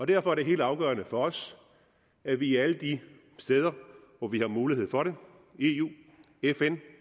derfor er det helt afgørende for os at vi alle de steder hvor vi har mulighed for det i eu i fn